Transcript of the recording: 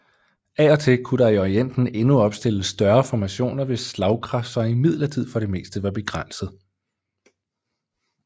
Af og til kunne der i Orienten endnu opstilles større formationer hvis slagkraft så imidlertid for det meste var begrænset